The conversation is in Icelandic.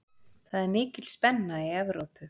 Það er mikil spenna í Evrópu.